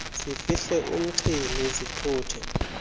zifihle umxhwili zithuthi